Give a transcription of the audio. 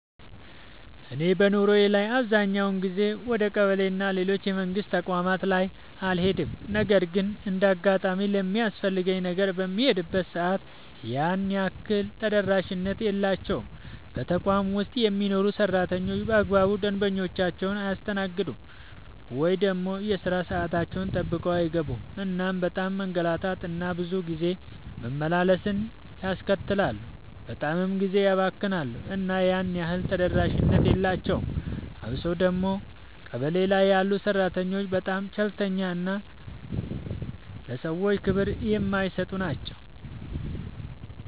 እኔ በኑሮዬ ላይ አብዛኛውን ጊዜ ወደ ቀበሌ እና ሌሎች የመንግስት ተቋማት ላይ አልሄድም ነገር ግን እንደ አጋጣሚ ለሚያስፈልገኝ ነገር በምሄድበት ሰዓት ያን ያህል ተደራሽነት የላቸውም። በተቋም ውስጥ የሚሰሩ ሰራተኞች በአግባቡ ደንበኞቻቸውን አያስተናግዱም። ወይ ደግሞ የሥራ ሰዓታቸውን ጠብቀው አይገኙም እናም በጣም መንገላታት እና ብዙ ጊዜ መመላለስን ያስከትላሉ በጣምም ጊዜ ያባክናሉ እና ያን ያህል ተደራሽነት የላቸውም። አብሶ ደግሞ ቀበሌ ላይ ያሉ ሰራተኞች በጣም ቸልተኛ እና ለሰዎች ክብር የማይሰጡ ናቸው።